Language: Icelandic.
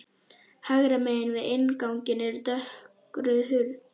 Hægra megin við innganginn er dökkrauð hurð.